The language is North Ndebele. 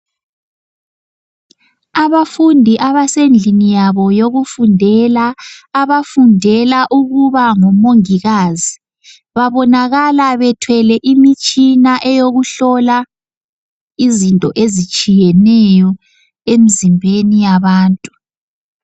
Abafundi abesendlini yabo yokufundela abafundela ukuba ngomongikazi babonakala bethwele imitshina yokuhlola izinto ezitshiyeneyo emizimbeni yabantu.